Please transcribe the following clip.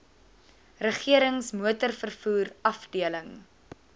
regerings motorvervoer afdeling